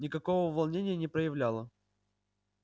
никакого волнения не проявляла